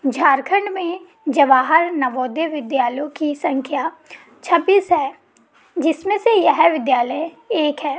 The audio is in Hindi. झारखंड में जवाहर नवोदय विद्यालयों की संख्या छब्बीस है जिसमें से यह विद्यालय एक है।